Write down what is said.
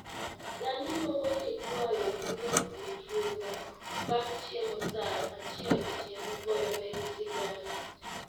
Dani luongo nyikwayo gi dhoklufunda bang' chiemo saa achiel otieno goyo negi sigana